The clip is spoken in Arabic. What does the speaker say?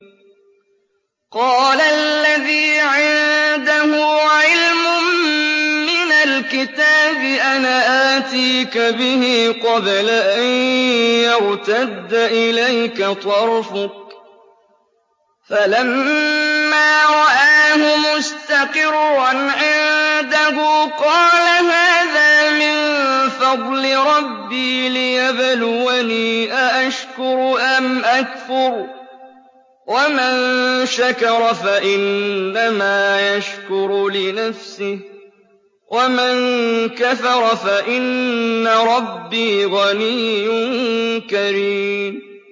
قَالَ الَّذِي عِندَهُ عِلْمٌ مِّنَ الْكِتَابِ أَنَا آتِيكَ بِهِ قَبْلَ أَن يَرْتَدَّ إِلَيْكَ طَرْفُكَ ۚ فَلَمَّا رَآهُ مُسْتَقِرًّا عِندَهُ قَالَ هَٰذَا مِن فَضْلِ رَبِّي لِيَبْلُوَنِي أَأَشْكُرُ أَمْ أَكْفُرُ ۖ وَمَن شَكَرَ فَإِنَّمَا يَشْكُرُ لِنَفْسِهِ ۖ وَمَن كَفَرَ فَإِنَّ رَبِّي غَنِيٌّ كَرِيمٌ